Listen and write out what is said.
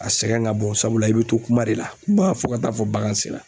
A sɛgɛn ka bon sabula i bɛ to kuma de la ba fɔ ka taa fɔ bagan sera.